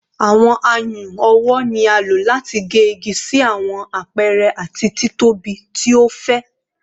Awọn ayùn ọwọ ni a lo lati ge igi si awọn apẹrẹ ati titobi ti o fẹ